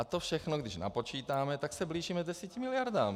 A to všechno, když napočítáme, tak se blížíme 10 miliardám.